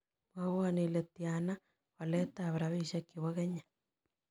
Mwowon ile tiana waletap rabisiek chebo kenya